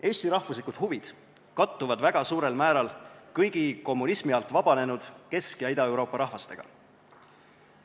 Eesti rahvuslikud huvid kattuvad väga suurel määral kõigi kommunismi alt vabanenud Kesk- ja Ida-Euroopa rahvastega.